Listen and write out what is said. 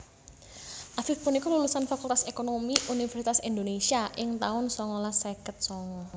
Afif punika lulusan Fakultas Ekonomi Universitas Indonésia ing taun songolas seket songo